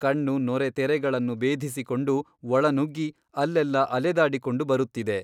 ಕಣ್ಣು ನೊರೆತೆರೆಗಳನ್ನು ಭೇದಿಸಿಕೊಂಡು ಒಳನುಗ್ಗಿ ಅಲ್ಲೆಲ್ಲಾ ಅಲೆದಾಡಿಕೊಂಡು ಬರುತ್ತಿದೆ.